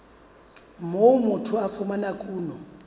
moo motho a fumanang kuno